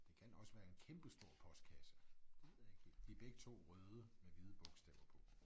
Det kan også være en kæmpe stor postkasse det ved jeg ikke helt. De begge 2 røde med hvide bogstaver på